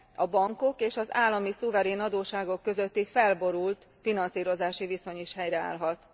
a bankok és az állami szuverén adósságok közötti felborult finanszírozási viszony is helyreállhat.